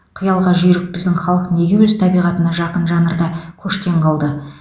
қиялға жүйрік біздің халық неге өз табиғатына жақын жанрда көштен қалды